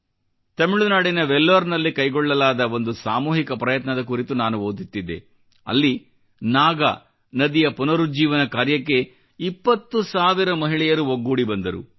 ತಮಿಳುನಾಡಿನ ವೆಲ್ಲೋರ್ದಲ್ಲಿ ಕೈಗೊಳ್ಳಲಾದ ಒಂದು ಸಾಮೂಹಿಕ ಪ್ರಯತ್ನದ ಕುರಿತು ನಾನು ಓದುತ್ತಿದ್ದೆ ಅಲ್ಲಿ ನಾಗ ನದಿಯ ಪುನರುಜ್ಜೀವನ ಕಾರ್ಯಕ್ಕೆ 20 ಸಾವಿರ ಮಹಿಳೆಯರು ಒಗ್ಗೂಡಿ ಬಂದರು